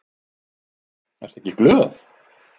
Ertu ekki glöð?